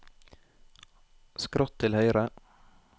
skrått til høyre